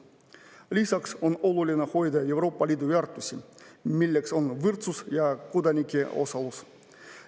Lisaks on oluline hoida Euroopa Liidu väärtusi, milleks on võrdsus ja kodanike osalus.